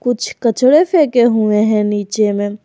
कुछ कचरे फेंके हुए हैं नीचे में।